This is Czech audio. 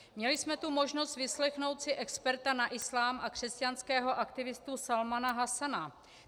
Měli jsme tu možnost vyslechnout si experta na islám a křesťanského aktivistu Salmana Hasana.